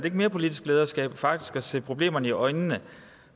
ikke mere politisk lederskab faktisk at se problemerne i øjnene